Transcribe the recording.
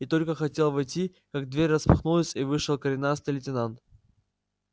и только хотел войти как дверь распахнулась и вышел коренастый лейтенант